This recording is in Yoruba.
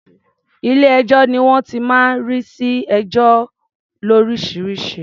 Ilé-ẹjọ́ ni wọ́n ti máa ń rí sí ẹjọ́ lóríṣiríṣi.